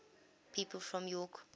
people from york